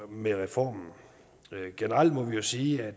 med reformen generelt må vi jo sige at